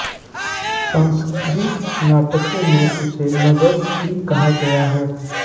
संस्कृत नाटकों में उसे नगरश्री कहा गया है